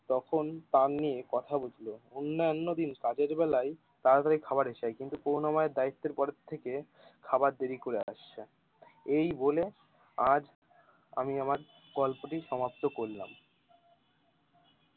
তখন তার নিয়ে কথা উঠলো অন্য অন্যদিন সাধের বেলায় তাড়াতাড়ি খাবার এসে যায় কিন্তু করুনা ময়ের দায়িয়েত্বের পরে থেকে খাবার দেরি করে আসছে এই বলে আজ আমি আমার গল্পটি সমাপ্ত করলাম।